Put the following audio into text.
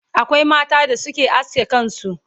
akwai mata da Suke aske kansu